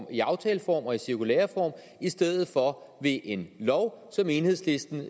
i aftaleform og i cirkulæreform i stedet for ved en lov selv om enhedslisten